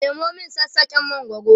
Nemo min sassaken mangwaro!